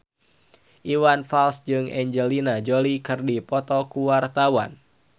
Iwan Fals jeung Angelina Jolie keur dipoto ku wartawan